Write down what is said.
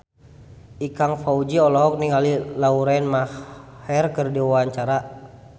Ikang Fawzi olohok ningali Lauren Maher keur diwawancara